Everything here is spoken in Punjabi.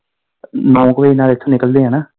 ਨੋ ਕ ਵਜੇ ਨਾਲ ਇਥੋਂ ਨਿਕਲਦੇ ਆ ਨਾ।